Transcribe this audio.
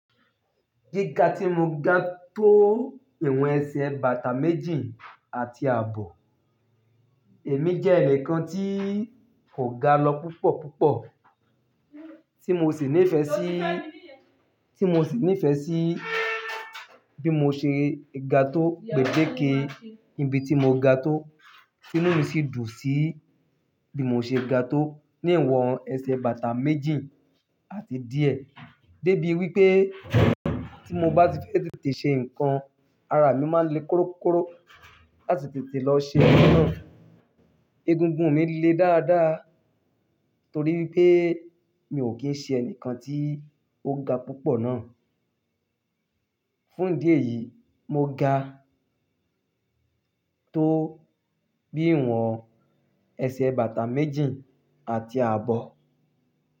Gíga tí mo ga tó ìwọ̀n ẹsẹ̀ bàtà méjì àti àbọ̀, èmi jẹ́ ẹnìkan tí kò ga lọ púpọ̀ púpọ̀ tí mo sì nífẹ̀ẹ́ sí, tí mo sì nífẹ̀ẹ́ sí bí mo ṣe ga tó pẹ̀dẹ̀ke ibi tí mo ga tó, inú mi sì dùn sí bí mo ṣe ga tó ní ìwọ̀n ẹsẹ̀ bàtà méjì àti díẹ̀ débi wípé tí mo bá ti fẹ́ tètè ṣe ǹkan, ara mi máa ń le korokoro láti tètè lọ ṣe ǹkan náà. Egungun mi lé dáadáa torí wípé mi ò kí ń ṣe ẹnìkan tí ó ga púpọ̀ náà. Fún ìdí èyí, mo ga tó bí ìwọ̀n ẹsẹ̀ bàtà méjì àti àbọ̀.